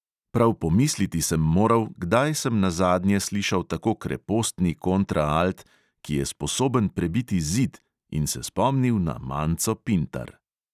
Prav pomisliti sem moral, kdaj sem nazadnje slišal tako krepostni kontraalt, ki je sposoben prebiti zid, in se spomnil na manco pintar.